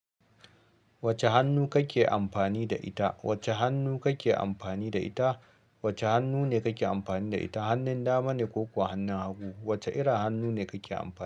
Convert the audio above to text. Wacce hannu kake amfani da ita? Wacce hannu kake amfani da ita? Wacce hannu ne kake amfani da ita, hannun dama ne ko kuwa hannun hagu? Wacce irin hannu ne kake amfani?